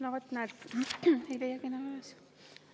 No vot, näed, ei leiagi enam üles!